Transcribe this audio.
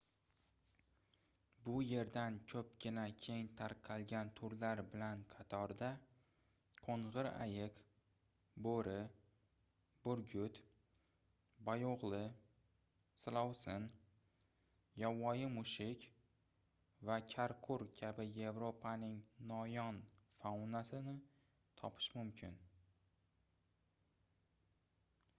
bu yerdan koʻpgina keng tarqalgan turlar bilan qatorda qoʻngʻir ayiq boʻri burgut boyoʻgʻli silovsin yovvoyi mushuk va karqur kabi yevropaning noyon faunasini topish mumkin